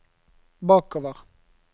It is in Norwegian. bakover